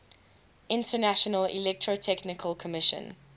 international electrotechnical commission